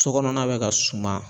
So kɔnɔna bɛ ka suma